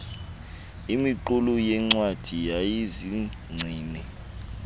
imiqulu yeencwadi yayizigcine